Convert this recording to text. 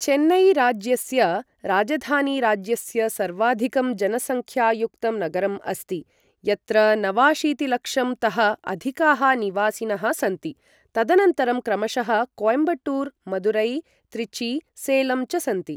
चेन्नई राज्यस्य राजधानी राज्यस्य सर्वाधिकं जनसंख्यायुक्तं नगरम् अस्ति यत्र नवाशीतिलक्षं तः अधिकाः निवासिनः सन्ति, तदनन्तरं क्रमशः कोयम्बटूर, मदुरै, त्रिची, सलेम च सन्ति